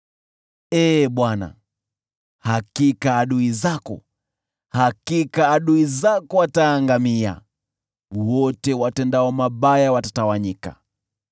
Ee Bwana , hakika adui zako, hakika adui zako wataangamia. Wote watendao mabaya watatawanyika.